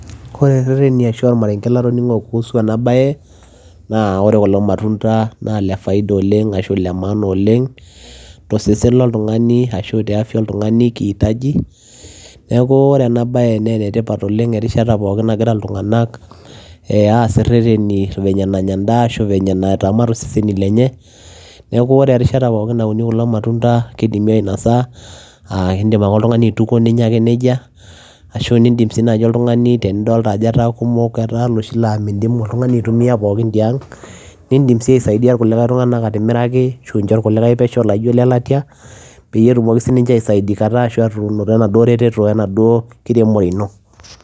Oree irereteni latoningoo kuhusu enaa baye naa oree kulo matunda naa ile faida oleng te afya oltunganii kihitajii neeku oree ena bayee naa enetipat erishata pookin naagira ilntunganak aas irereteni venye nanya endaa ashua naitobirr iseseni lenye nekeuu oree erishata pookin naunii kulo matunda kidimi aainosa Idim aitukuo ninyaa nejia ashuaa isaidia ilkulikae tunganak idim sii aishoo lele latia peshoo peyiee itum eretetoo